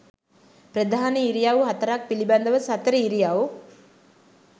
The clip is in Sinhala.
ප්‍රධාන ඉරියව් හතරක් පිළිබඳව සතර ඉරියව්